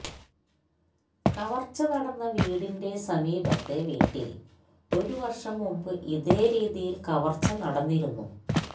കവര്ച്ച നടന്ന വീടിന്റെ സമീപത്തെ വീട്ടില് ഒരു വര്ഷം മുമ്പ് ഇതേ രീതിയില് കവര്ച്ച നടന്നിരുന്നു